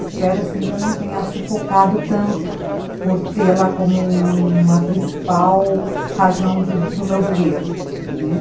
Espero que eu não tenha sufocado tanto por tê-la como uma principal razão do meu viver, né.